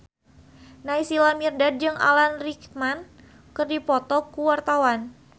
Naysila Mirdad jeung Alan Rickman keur dipoto ku wartawan